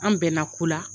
An bɛnna ko la